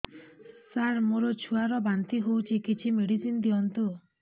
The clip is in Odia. ସାର ମୋର ଛୁଆ ର ବାନ୍ତି ହଉଚି କିଛି ମେଡିସିନ ଦିଅନ୍ତୁ